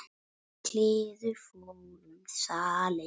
kliður fór um salinn.